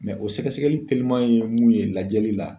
o sɛgɛsɛgɛli teliman ye mun ye lajɛli la.